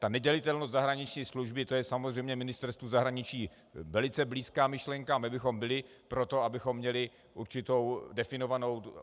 Ta nedělitelnost zahraniční služby, to je samozřejmě Ministerstvu zahraničí velice blízká myšlenka, my bychom byli pro to, abychom měli určitou definovanou....